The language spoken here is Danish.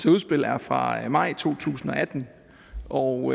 udspil er fra maj to tusind og atten og